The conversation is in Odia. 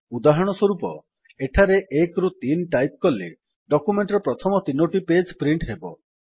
ଉଦାହରଣ ସ୍ୱରୂପ ଏଠାରେ 1 3 ଟାଇପ୍ କଲେ ଡକ୍ୟୁମେଣ୍ଟ୍ ର ପ୍ରଥମ ତିନୋଟି ପେଜ୍ ପ୍ରିଣ୍ଟ୍ ହେବ